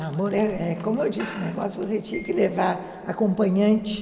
Namoro é é como eu disse, o negócio você tinha que levar acompanhante.